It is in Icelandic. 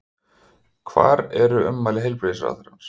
Hvar er ummæli heilbrigðisráðherrans?